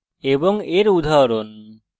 string এর কয়েকটি উদাহরণ